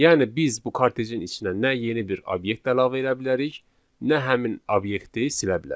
Yəni biz bu kartejin içinə nə yeni bir obyekt əlavə edə bilərik, nə həmin obyekti silə bilərik.